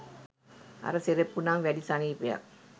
අර සෙරෙප්පු නම් වැඩි සනීපයක්